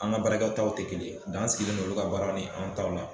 An ka baraa kɛ taw te kelen ye dan sigilen no olu ka baara ni anw ta ma